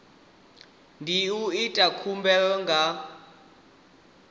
ndi u ita khumbelo nga